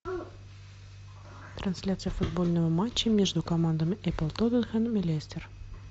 трансляция футбольного матча между командами апл тоттенхэм и лестер